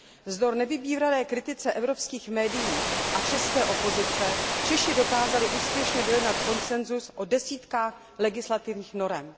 Vzdor nevybíravé kritice evropských medií a české opozice Češi dokázali úspěšně dojednat konsensus o desítkách legislativních norem.